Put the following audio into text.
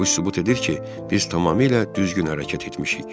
Bu sübut edir ki, biz tamamilə düzgün hərəkət etmişik.